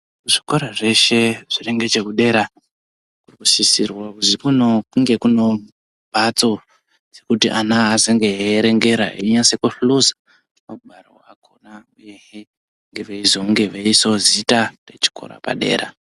Zvikora zveshe zviri ngechekudera zvinosisirwawo kuzi kunge kunewo mbatso dzekuti ana azenge eierengera einyase kuhluza magwaro akhona uyehe veizonge veiisawo zita rechikora padera.